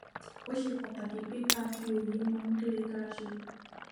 ó ṣe pàtàkì pé ká máa fi òye mọ ohun tó yẹ ká ṣe